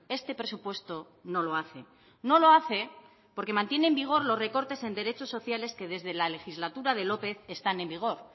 este presupuesto no lo hace no lo hace porque mantiene en vigor los recortes en derechos sociales que desde la legislatura de lópez están en vigor